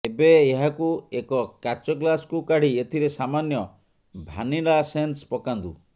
ଏବେ ଏହାକୁ ଏକ କାଚ ଗ୍ଲାସକୁ କାଢି ଏଥିରେ ସାମାନ୍ୟ ଭ୍ୟାନିଲାସେନ୍ସ ପକାନ୍ତୁ